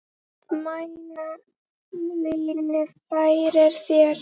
Mæna vínið færir þér.